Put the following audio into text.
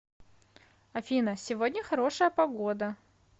афина сегодня хорошая погода